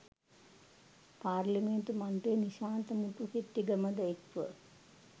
පාර්ලිමේන්තු මන්ත්‍රී නිශාන්ත මුතුහෙට්ටිගමද එක්ව